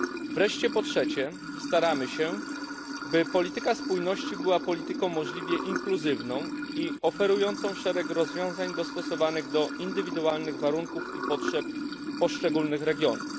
Wreszcie po trzecie, staramy się, by polityka spójności była polityką możliwie inkluzywną i oferującą szereg rozwiązań dostosowanych do indywidualnych warunków i potrzeb poszczególnych regionów.